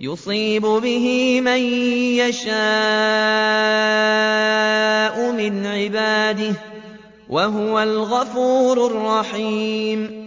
يُصِيبُ بِهِ مَن يَشَاءُ مِنْ عِبَادِهِ ۚ وَهُوَ الْغَفُورُ الرَّحِيمُ